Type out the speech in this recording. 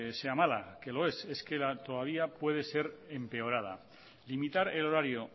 sea mala que lo es es que todavía puede ser empeorada limitar el horario